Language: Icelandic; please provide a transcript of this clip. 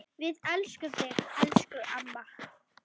Við elskum þig, elsku amma.